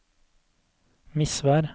Misvær